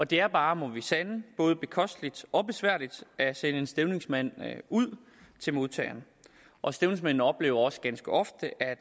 det er bare må vi sande både bekosteligt og besværligt at sende en stævningsmand ud til modtageren og stævningsmanden oplever også ganske ofte at